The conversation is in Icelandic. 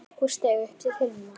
og steig upp til himna